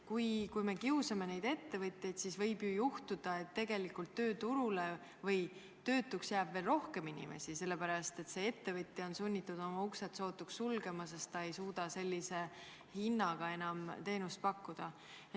Kui me kiusame ettevõtjaid, siis võib ju juhtuda, et tegelikult jääb töötuks veel rohkem inimesi, sest ettevõtja on sunnitud uksed sootuks sulgema, sest ta ei suuda sellise hinnaga enam teenust pakkuda.